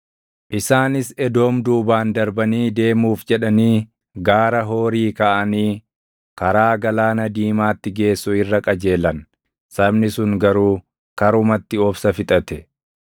Isaanis Edoom duubaan darbanii deemuuf jedhanii Gaara Hoorii kaʼanii karaa Galaana Diimaatti geessu irra qajeelan. Sabni sun garuu karumatti obsa fixate;